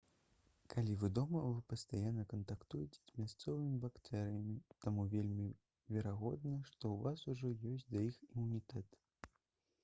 калі вы дома вы пастаянна кантактуеце з мясцовымі бактэрыямі таму вельмі верагодна што ў вас ужо ёсць да іх імунітэт